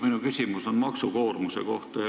Minu küsimus on maksukoormuse kohta.